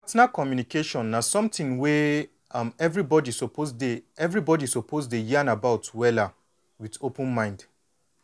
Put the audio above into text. partner communication na something wey um everybody suppose dey everybody suppose dey yan about wella with open mind